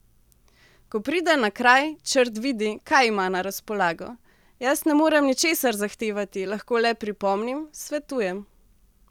Ko pride na kraj, Črt vidi, kaj ima na razpolago: 'Jaz ne morem ničesar zahtevati, lahko le pripomnim, svetujem ...